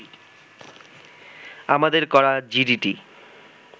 আমাদের করা জিডিটি